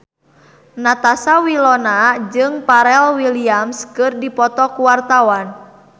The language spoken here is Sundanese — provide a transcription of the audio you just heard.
Natasha Wilona jeung Pharrell Williams keur dipoto ku wartawan